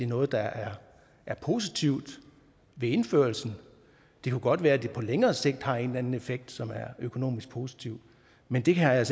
noget der er positivt ved indførelsen det kunne godt være at det på længere sigt har en eller anden effekt som er økonomisk positiv men det har jeg